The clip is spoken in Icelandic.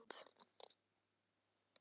Það er danskt land.